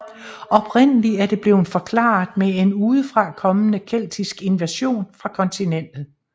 Oprindelig er det blevet forklaret med en udefrakommende keltisk invasion fra kontinentet